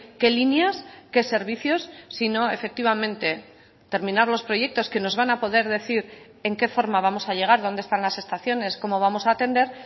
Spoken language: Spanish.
qué líneas qué servicios sino efectivamente terminar los proyectos que nos van a poder decir en qué forma vamos a llegar dónde están las estaciones cómo vamos a atender